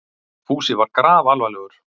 Fúsi var grafalvarlegur.